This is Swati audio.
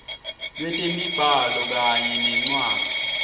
lwetemibhalo kanye nencwadzi